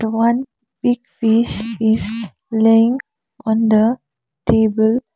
one big fish is laying on the table.